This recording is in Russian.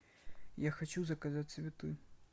я хочу заказать цветы